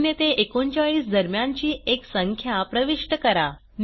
0 ते 39 दरम्यानची एक संख्या प्रविष्ट करा